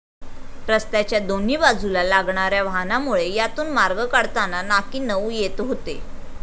रस्त्याच्या दोन्ही बाजूला लागणाऱ्या वाहनामुळे यातून मार्ग काढताना नाकीनऊ येत होते.